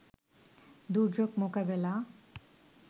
দুর্যোগ মোকাবেলা